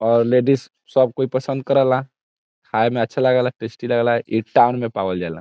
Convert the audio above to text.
और लेडीज सब कोई पसंद करेला खाय में अच्छा लागला टेस्टी लागला इ टाउन में पावल जा ला।